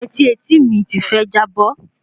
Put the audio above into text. Yetí etííìmi ti fẹ́ jábọ́